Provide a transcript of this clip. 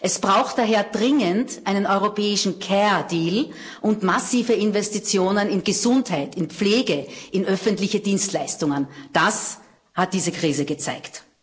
Es braucht daher dringend einen europäischen Care Deal und massive Investitionen in Gesundheit, in Pflege und in öffentliche Dienstleistungen das hat diese Krise gezeigt.